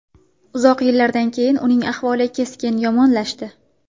Uzoq yillardan keyin uning ahvoli keskin yomonlashdi.